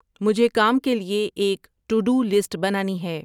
مجھے کام کے لیے ایک ٹو ڈو لسٹ بنانی ہے